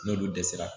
N'olu dɛsɛra